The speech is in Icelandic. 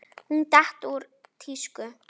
Hún datt úr tísku.